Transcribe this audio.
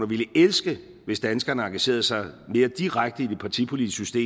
ville elske hvis danskerne engagerede sig mere direkte i det partipolitiske